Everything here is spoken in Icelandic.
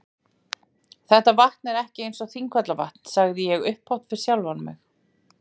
Þetta vatn er ekki eins og Þingvallavatn sagði ég upphátt við sjálfan mig.